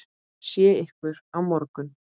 Sé ykkur á morgun.